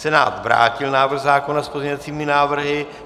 Senát vrátil návrh zákona s pozměňovacími návrhy.